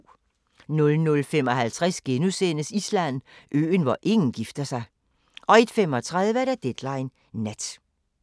00:55: Island: Øen, hvor ingen gifter sig * 01:35: Deadline Nat